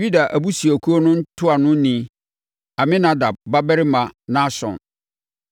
Yuda abusuakuo no ntuanoni yɛ Aminadab babarima Nahson;